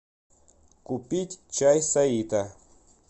купить чай саита